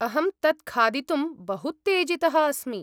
अहं तत् खादितुं बहूत्तेजितः अस्मि।